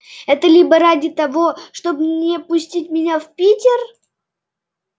это либо ради того чтобы не пустить меня в питер